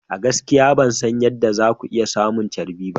A gaskiya ban san yadda za ku iya samun charbi ba.